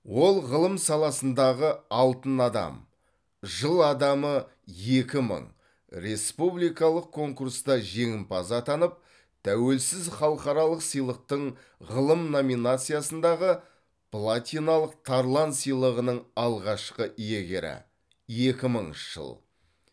ол ғылым саласындағы алтын адам жыл адамы екі мың республикалық конкурста жеңімпаз атанып тәуелсіз халықаралық сыйлықтың ғылым номинациясындағы платиналық тарлан сыйлығының алғашқы иегері екі мыңыншы жыл